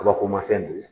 Kabakomafɛn don